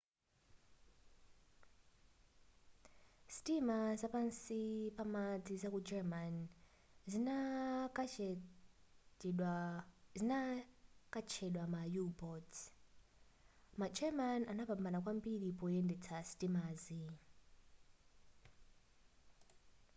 sitima za pansi pamadzi zaku german zinkatchedwa ma u-boats ma german anapambana kwambiri poyendetsa sitimazi